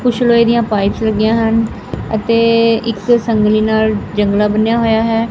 ਕੁੱਛ ਲੋਹੇ ਇਹਦੀਆਂ ਪਾਈਪਸ ਲੱਗੀਆਂ ਹਨ ਅਤੇ ਇੱਕ ਸੰਗਲੀ ਨਾਲ ਜੰਗਲਾਂ ਬੰਨਿਆ ਹੋਇਆ ਹੈ।